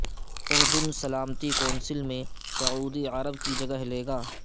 اردن سلامتی کونسل میں سعودی عرب کی جگہ لے گا